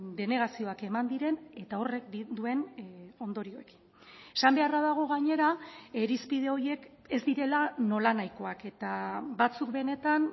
denegazioak eman diren eta horrek duen ondorioekin esan beharra dago gainera irizpide horiek ez direla nolanahikoak eta batzuk benetan